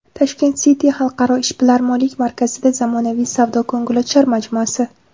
Tashkent City xalqaro ishbilarmonlik markazida zamonaviy savdo-ko‘ngilochar majmuasi.